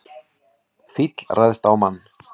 Fíll ræðst á mann